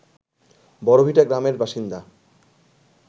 বড়ভিটা গ্রামের বাসিন্দা